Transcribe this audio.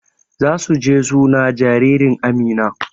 Zasu je suna jaririn Amina